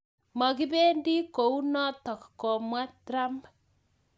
Makipendii kounotok ...komwa trump